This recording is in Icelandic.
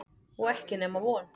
Og ekki nema von.